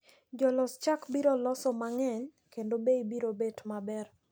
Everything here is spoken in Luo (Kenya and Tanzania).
Jolos chak biro loso mang`eny kendo bei biro bet maber.